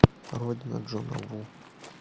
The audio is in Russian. родина джона ву